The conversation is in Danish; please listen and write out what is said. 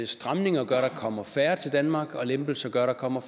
stramninger gør at der kommer færre til danmark og lempelser gør at der kommer